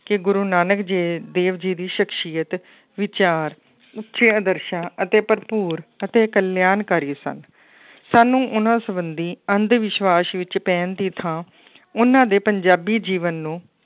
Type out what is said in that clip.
ਕਿ ਗੁਰੂ ਨਾਨਕ ਜੇ ਦੇਵ ਜੀ ਦੀ ਸਖ਼ਸ਼ੀਅਤ ਵਿਚਾਰ, ਉਚੇ ਆਦਰਸ਼ਾਂ ਅਤੇ ਭਰਪੂਰ ਅਤੇ ਕਲਿਆਣਕਾਰੀ ਸਨ ਸਾਨੂੰ ਉਹਨਾਂ ਸੰਬੰਧੀ ਅੰਧ ਵਿਸਵਾਸ਼ ਵਿੱਚ ਪੈਣ ਦੀ ਥਾਂ ਉਹਨਾਂ ਦੇ ਪੰਜਾਬੀ ਜੀਵਨ ਨੂੰ